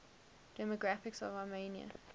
demographics of armenia